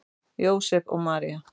Jósep og María